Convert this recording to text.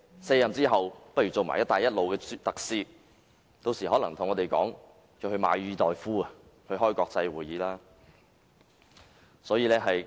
卸任後他大可出任"一帶一路"特使，屆時他可能會向我們申請撥款，前往馬爾代夫舉行國際會議。